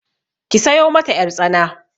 Ki sayo mata ƴartsana.